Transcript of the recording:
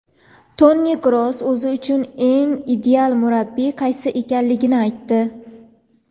Toni Kroos o‘zi uchun eng ideal murabbiy qaysi ekanligini aytdi;.